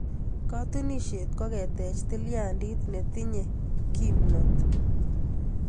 Katunisyet ko ketech tilyandit netinyei kimnon.